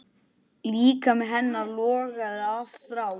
Líkami hennar logaði af þrá.